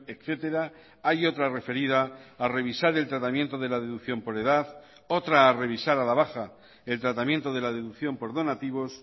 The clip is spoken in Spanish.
etcétera hay otra referida a revisar el tratamiento de la deducción por edad otra a revisar a la baja el tratamiento de la deducción por donativos